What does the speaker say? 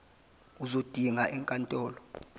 uzodinga enk antolo